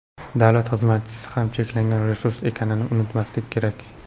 davlat xizmatchisi ham cheklangan resurs ekanini unutmaslik kerak.